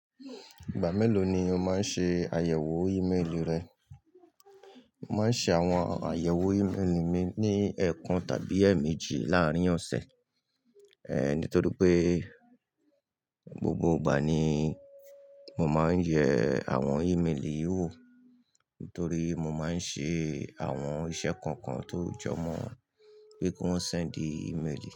Ìgbà mélòó ni o máa ń ṣe àyẹ̀wò ímélì rẹ? Mo máa ń ṣe àwọn àyẹ̀wò ímélì mi ní ẹẹkan tàbí èèmejì láàárín ọ̀sẹ̀. Ehn, nítorí pé gbógbó ìgbà ni mo máa ń yẹ àwọn ímélì wò, nítorí mo máa ń ṣe àwọn iṣẹ́ kọ̀ọ̀kan tó jọ mọ́ wọn pé kí wọ́n sè di ímélì.